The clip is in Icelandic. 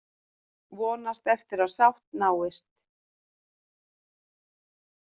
Vonast eftir að sátt náist